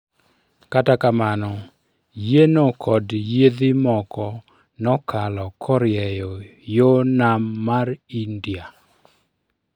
Kata kamano yieno kod yiedhi moko nokalo koryeyo yoo Nam mar India